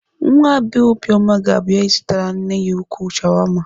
Nwa bee Obioma ga-abịa ịzụtara nne ya ukwuu shawama.